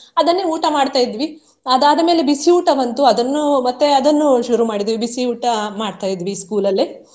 ಅದನ್ನೇ ಊಟ ಮಾಡ್ತಾ ಇದ್ವಿ ಅದಾದ ಮೇಲೆ ಬಿಸಿ ಊಟ ಬಂತು ಅದನ್ನು ಮತ್ತೆ ಅದನ್ನು ಶುರು ಮಾಡಿದೆವು ಬಿಸಿ ಊಟ ಮಾಡ್ತಾ ಇದ್ವಿ school ಅಲ್ಲಿ.